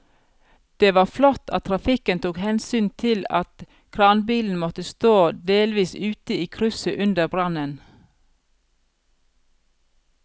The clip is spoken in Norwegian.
Det var flott at trafikken tok hensyn til at kranbilen måtte stå delvis ute i krysset under brannen.